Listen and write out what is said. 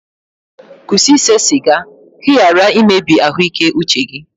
kwụsị ise siga ka ị ghara imebi ahụike uche gị